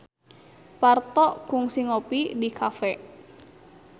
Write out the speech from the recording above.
Parto kungsi ngopi di cafe